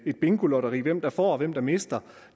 et bingolotteri hvem der får og hvem der mister